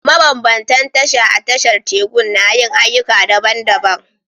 Mabambantan tasha a tashar tekun na yin ayyuka daban-daban